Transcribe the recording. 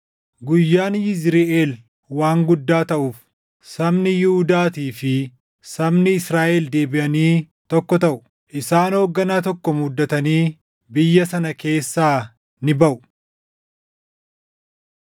Guyyaan Yizriʼeel waan guddaa taʼuuf, sabni Yihuudaatii fi sabni Israaʼel deebiʼanii tokko taʼu; isaan hoogganaa tokko muuddatanii biyya sana keessaa ni baʼu.